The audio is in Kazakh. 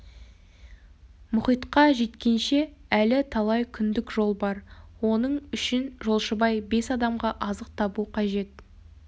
мұхитқа жеткенше әлі талай күндік жол бар оның үшін жолшыбай бес адамға азық табу қажет